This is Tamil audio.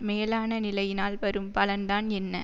மேலான நிலையினால் வரும் பலன்தான் என்ன